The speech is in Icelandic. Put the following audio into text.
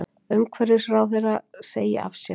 Umhverfisráðherra segi af sér